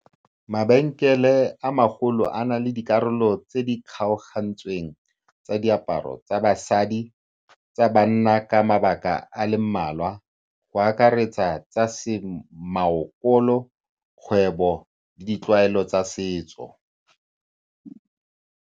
Mabenkele a magolo a na le dikarolo tse di kgaogantsweng tsa diaparo tsa basadi, tsa banna ka mabaka a le mmalwa, go akaretsa tsa semaokolo, kgwebo le ditlwaelo tsa setso.